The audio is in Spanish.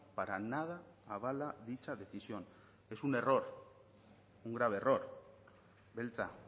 para nada avala dicha decisión es un error un grave error beltza